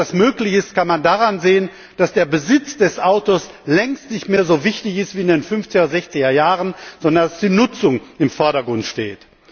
Und dass das möglich ist, kann man daran sehen, dass der Besitz des Autos längst nicht mehr so wichtig ist wie in den 50 er oder 60 er Jahren, sondern dass die Nutzung im Vordergrund steht.